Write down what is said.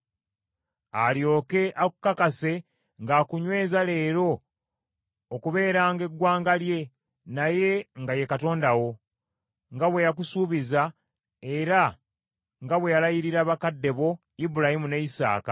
alyoke akukakase ng’akunyweza leero okubeeranga eggwanga lye, naye nga ye Katonda wo, nga bwe yakusuubiza, era nga bwe yalayirira bakadde bo: Ibulayimu ne Isaaka.